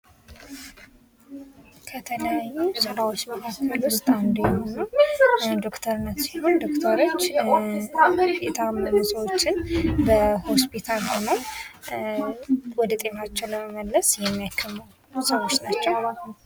ከተለያዩ ስራዎች መካከል አንዱ የሆነው ዶክተርነት ሲሆን ዶክተሮች የታመሙ ሰዎችን በሆስፒታል ውስጥ ሆነው ወደ ጤናቸው ለመመለስ የሚያከሙ ሰዎች ናቸው።